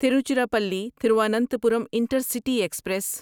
Tiruchirappalli Thiruvananthapuram intercity express